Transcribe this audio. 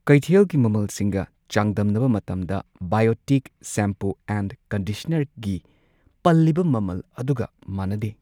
ꯀꯩꯊꯦꯜꯒꯤ ꯃꯃꯜꯁꯤꯡꯒ ꯆꯥꯡꯗꯝꯅꯕ ꯃꯇꯝꯗ ꯕꯥꯏꯑꯣꯇꯤꯛ ꯁꯦꯝꯄꯨ ꯑꯦꯟ ꯀꯟꯗꯤꯁꯅꯔꯒꯤ ꯀꯤ ꯄꯜꯂꯤꯕ ꯃꯃꯜ ꯑꯗꯨꯒ ꯃꯥꯟꯅꯗꯦ꯫